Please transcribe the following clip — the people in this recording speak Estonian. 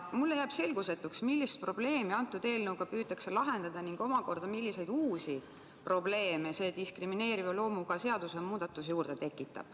Mulle jääb selgusetuks, millist probleemi eelnõuga püütakse lahendada ning omakorda, milliseid uusi probleeme see diskrimineeriva loomuga seadusemuudatus juurde tekitab.